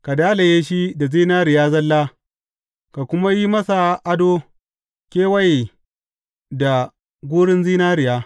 Ka dalaye shi da zinariya zalla ka kuma yi masa ado kewaye da gurun zinariya.